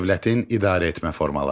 Dövlətin idarəetmə formaları.